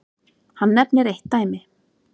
Hann nefnir eitt dæmi.